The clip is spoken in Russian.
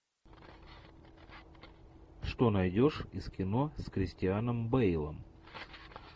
что найдешь из кино с кристианом бейлом